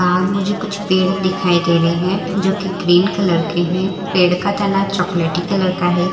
बाहर मुझे कुछ पेड़ दिखाई दे रहे हैं जो कि ग्रीन कलर के हैं पेड़ का तना चॉकलेटी कलर का है।